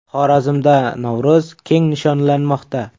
Xorazmda Navro‘z keng nishonlanmoqda.